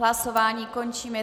Hlasování končím.